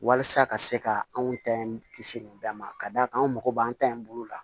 Walasa ka se ka anw ta in kisi nin bɛɛ ma ka d'a kan an mago b'an ta in bolo la